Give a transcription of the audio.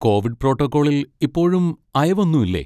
Covid പ്രോട്ടോക്കോളിൽ ഇപ്പോഴും അയവൊന്നും ഇല്ലേ?